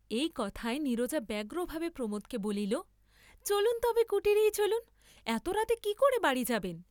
এই কথায় নীরজা ব্যগ্রভাবে প্রমোদকে বলিল চলুন তবে কুটীরেই চলুন, এত রাতে কি করে বাড়ী যাবেন?